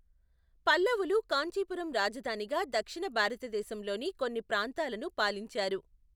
పల్లవులు కాంచీపురం రాజధానిగా దక్షిణ భారతదేశంలోని కొన్ని ప్రాంతాలను పాలించారు.